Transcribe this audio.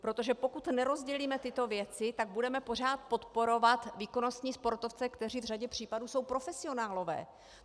Protože pokud nerozdělíme tyto věci, tak budeme pořád podporovat výkonnostní sportovce, kteří v řadě případů jsou profesionálové!